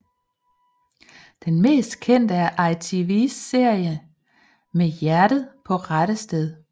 Den mest kendte er ITVs serie Med hjertet på rette sted